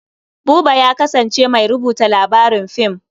Buba ya kasance mai rubuta labarin fim.